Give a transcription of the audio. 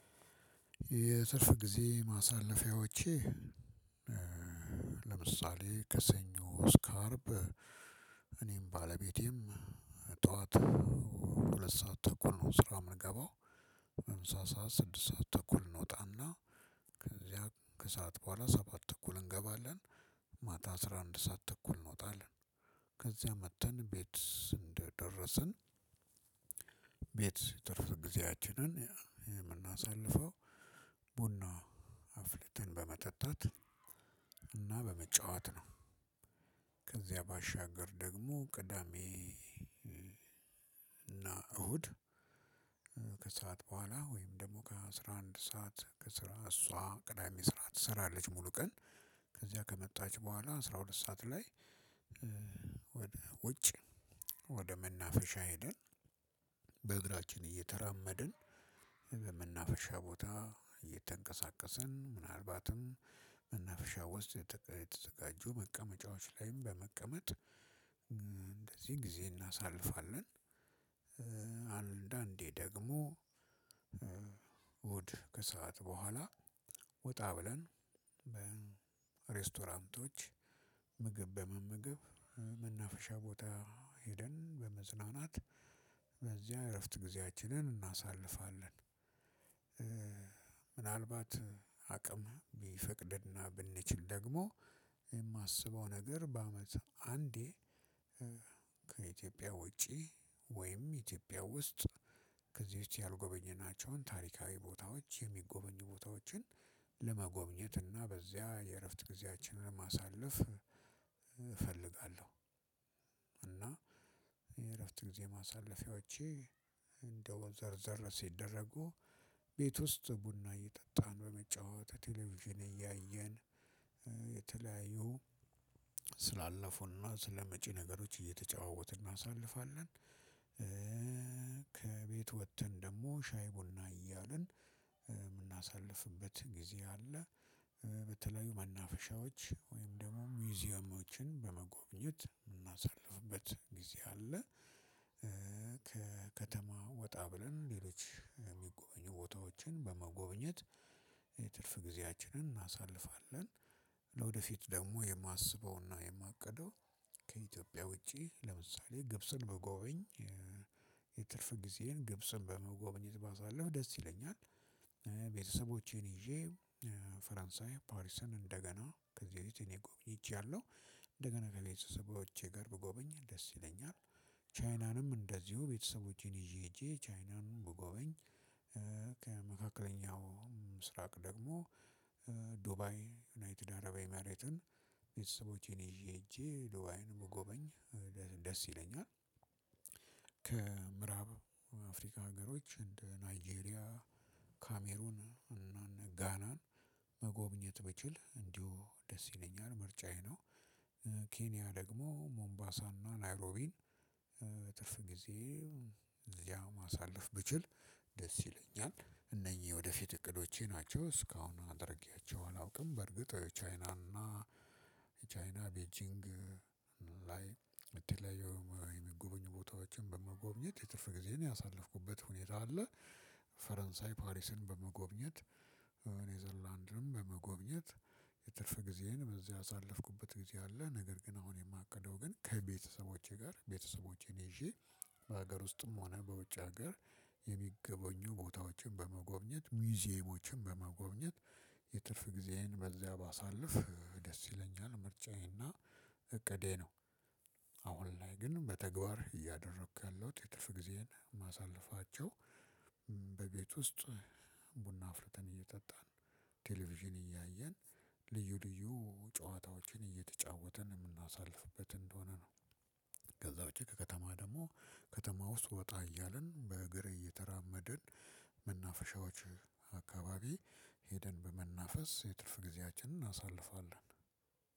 የትርፍ ጊዜ ማሳለፊያዎቼ። ለምሳሌ ከሰኞ እስከ አርብ እኔም ባለቤቴም ጠዋት ሁለት ሰዓት ተኩል ነው ስራ የምንገባው። ለምሳ ሰዓት ስድስት ሰዓት ተኩል እንወጣና ከዚያ ከሰአት በኋላ ሰባት ተኩል እንገባለን። ማታ አስራ አንድ ሰዓት ተኩል እንወጣለን። ከዚያ መጥተን ቤት እንደደረስን ቤት ትርፍ ጊዜያችንን የምናሳልፈው አፍልተን በመጠጣት እና በመጫወት ነው። ከዚያ ባሻገር ደግሞ ቅዳሜ እና እሁድ። በኋላ ወይም ደግሞ ከአስራ አንድ ሰዓት ከስራ እሷ ቅዳሜ ስራ ትሰራለች ሙሉ ቀን። ከዚያ ከመጣች በኋላ አስራ ሁለት ሰዓት ላይ ወደ ውጭ ወደ መናፈሻ ሄደን በእግራችን እየተራመድን በመናፈሻ ቦታ እየተንቀሳቀስን ምናልባትም መናፍሻ ውስጥ የተዘጋጁ መቀመጫዎች ላይም በመቀመጥ እንደዚህ ጊዜ እናሳልፋለን። አንዳንዴ ደግሞ እሁድ ከሰአት በኋላ ወጣ ብለን በሬስቶራንቶች ምግብ በመመገብ መናፈሻ ቦታ ሄደን በመዝናናት በዚያ እረፍት ጊዜያችንን እናሳልፋለን። ምናልባትም አቅም ቢፈቅድና ብንችል ደግሞ የማስበው ነገር በአመት አንዴ ከኢትዮጵያ ውጪ ወይም ኢትዮጵያ ውስጥ ከዚህ በፊት ያልጎበኘናቸውን ታሪካዊ ቦታዎች የሚጎበኙ ቦታዎችን ለመጎብኘት እና በዚያ የእረፍት ጊዜያችንን ማሳለፍ እፈልጋለሁ። እና የእረፍት ጊዜ ማሳለፍያዎቼ ደግሞ ዘርዘር ሲደረጉ ቤት ውስጥ ቡና እየጠጣን በመጨዋወት ቴሌቪዥን እያየን የተለያዩ ስላለፉና ስለመጪ ነገሮች እየተጨዋወትን እናሳልፋለን። ከቤት ወጥተን ደግሞ ሻይ ቡና እያልን የምናሳልፍበት ጊዜ አለ። በተለያዩ መናፈሻዎች ወይም ደግሞ ሙዚየሞችን በመጎብኘት የምናሳልፍበት ጊዜ አለ። ከከተማ ወጣ ብለን ሌሎች የሚጎበኙ ቦታዎችን በመጎብኘት የትርፍ ጊዜያችንን እናሳልፋለን። ለወደፊት ደግሞ የማስበውና የማቅደው ከኢትዮጵያ ውጪ ለምሳሌ ግብጽን በጎበኝ የትርፍ ጊዜን ግብጽን በመጎበኘት ባሳልፍ ደስ ይለኛል። ቤተሰቦቼን ይዤ ፈረንሳይ ፓሪስን እንደገና ከዚህ በፊት እኔ ጎብኝቻለሁ እንደገና ከቤተሰቦቼ ጋር ብጎበኝ ደስ ይለኛል። ቻይናንም እንደዚሁ ቤተሰቦቼን ይዤ ሄጄ ቻይናንም በጎበኝ። ከመካከለኛው ምስራቅ ደግሞ ዱባይ ዩናይትድ አረብ ኤመሬትን ቤተሰቦቼን ይዤ ሄጄ ዱባይንም መጎበኝ ደስ ይለኛል። ከምዕራብ አፍሪካ ሀገሮች እንደ ናይጄሪያ ካሜሮን እና ጋናን መጎብኘት ብችል እንዲሁ ደስ ይለኛል ምርጫዬ ነው። ኬንያ ደግሞ ሞምባሳና ናይሮቢን ትርፍ ጊዜ እዚያ ማሳለፍ ብችል ደስ ይለኛል። እነኚህ ወደፊት እቅዶቼ ናቸው እስካሁን አድርጌያቸው አላውቅም። በርግጥ የቻይናና የቻይና ቤጂንግ የተለያዩ የሚጎበኙ ቦታዎችን በመጎብኘት የትርፍ ጊዜዬን ያሳለፍኩበት ሁኔታ አለ። ፈረንሳይ ፓሪስን በመጎብኘት ኔዘርላንድም በመጎብኘት የትርፍ ጊዜዬን በዚህ ያሳለፍኩበት ጊዜ አለ። ነገር ግን አሁን የማቅደው ግን ከቤተሰቦቼ ጋር ቤተሰቦቼን ይዤ ውስጥም ሆነ በውጭ ሀገር የሚገበኙ ቦታዎችን በመጎብኘት ሙዚየሞችን በመጎብኘት የትርፍ ጊዜዬን በዚያ ባሳልፍ ደስ ይለኛል። ምርጫዬና እቅዴ ነው። አሁን ላይ ግን በተግባር እያደረኩ ያለሁት የትርፍ ጊዜን ማሳለፋቸው ውስጥ ቡና አፍልተን እየጠጣን ቴሌቪዥን እያየን ልዩ ልዩ ጨዋታዎችን እየተጫወተን የምናሳልፍበት እንደሆነ ነው። ከዛ ውጪ ከከተማ ደግሞ ከተማ ውስጥ ወጣ እያልን በእግር እየተራመድን መናፈሻዎች አካባቢ ሄደን በመናፈስ የትርፍ ጊዜያችንን እናሳልፋለን።